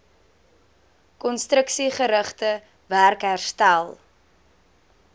konstruksiegerigte werk herstel